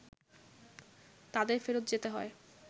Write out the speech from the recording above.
তাদের ফেরত যেতে হয়